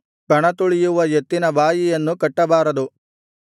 ಕಣತುಳಿಯುವ ಎತ್ತಿನ ಬಾಯಿಯನ್ನು ಕಟ್ಟಬಾರದು